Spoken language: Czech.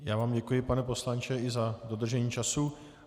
Já vám děkuji, pane poslanče, i za dodržení času.